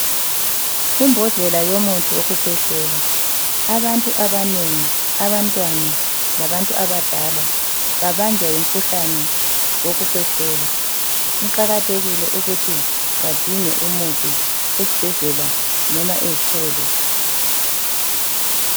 Imbodlela yomuthi wokukhwehlela, abantu abanengi abantwana labantu abadala babanjwa ngumkhuhlane wokukhwehlela kuqakathekile ukuthi badinge umuthi esibhedlela noma ezitolo.